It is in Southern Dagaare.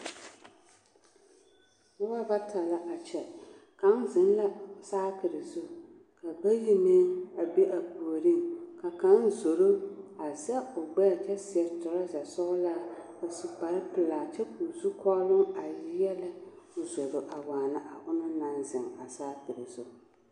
Noba bata la a kyɛ, kaŋ zeŋ la saakiri zu ka bayi meŋ a be a puoriŋ ka kaŋ zoro a za o gbɛɛ kyɛ seɛ toraza sɔgelaa a su kpare pelaa kyɛ k'o zukɔɔloŋ a yeɛlɛ k'o zoro a waana a ona anaŋ zeŋ a saakiri zu.